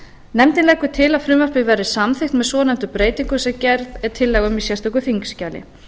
nefndin leggur til að frumvarpið verði samþykkt með svonefndri breytingu sem gerð er tillaga um í sérstöku þingskjali